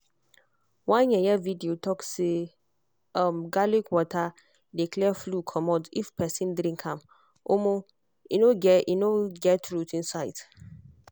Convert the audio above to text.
one um video talk say um garlic water dey clear flu comot if person drink am omo e no get e no get truth inside.